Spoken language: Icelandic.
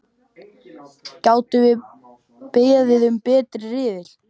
Gátum við beðið um betri riðil?!